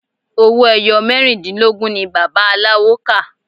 Owó ẹyọ mẹ́rìndínlógún ni bàbá aláwo kà.